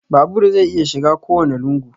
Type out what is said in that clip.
Babur zai iya shiga kowanne lungu